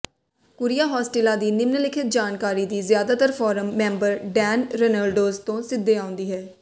Curia Hostilia ਦੀ ਨਿਮਨਲਿਖਤ ਜਾਣਕਾਰੀ ਦੀ ਜ਼ਿਆਦਾਤਰ ਫੋਰਮ ਮੈਂਬਰ ਡੈਨ ਰੇਨੋਲਡਜ਼ ਤੋਂ ਸਿੱਧੇ ਆਉਂਦੀ ਹੈ